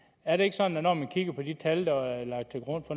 er det ikke sådan at når man kigger på de tal der er lagt til grund